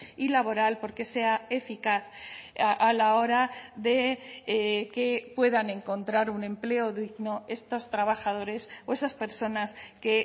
y laboral porque sea eficaz a la hora de que puedan encontrar un empleo digno estos trabajadores o esas personas que